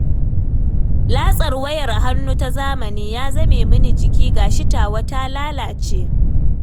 Latsar wayar hannu ta zamani ya zame mini jiki, ga shi tawa ta lalace